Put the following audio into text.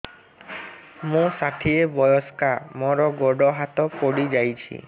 ମୁଁ ଷାଠିଏ ବୟସ୍କା ମୋର ଗୋଡ ହାତ ପଡିଯାଇଛି